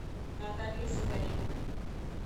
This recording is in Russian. наталья сидоренко